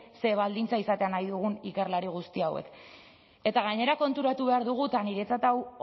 zer baldintza izatea nahi dugun ikerlari guzti hauek eta gainera konturatu behar dugu eta niretzat hau